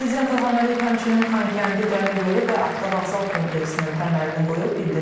Prezident İlham Əliyev həmçinin Xankəndi Dəmir Yolu və Avtovağzal kompleksinin təməlini qoyub.